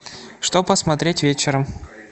что посмотреть вечером